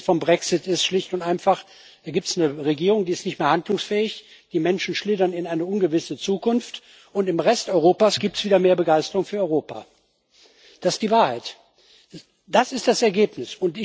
Das Ergebnis des Brexit ist schlicht und einfach Hier gibt es eine Regierung, die nicht mehr verhandlungsfähig ist, die Menschen schlittern in eine ungewisse Zukunft, und im Rest Europas gibt es wieder mehr Begeisterung für Europa. Das ist die Wahrheit, das ist das Ergebnis.